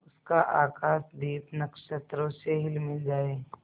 उसका आकाशदीप नक्षत्रों से हिलमिल जाए